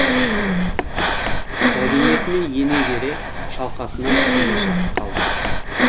кабинетіне ене бере шалқасынан түсуге шақ қалды